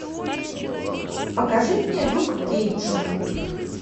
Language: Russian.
покажи мне люк кейдж